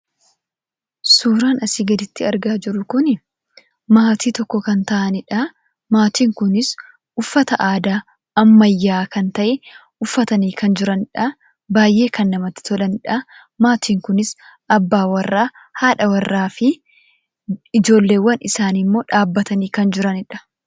Suuraan asii gaditti argaa jiru kunii maatii tokko kan ta'anidha. Maatiin kunis uffata aadaa ammayyaa kan ta'e uffatanii kan jiranidha. Baayyee kan namatti tolanidha. Maatiin kunis abbaa warraa, haadha warraafi ijoolleewwan isaanimmoo dhaabbatanii kan jiranidha.